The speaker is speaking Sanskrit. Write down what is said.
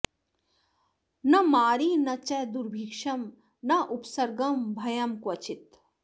न मारी न च दुर्भिक्षं नोपसर्गं भयं क्वचित्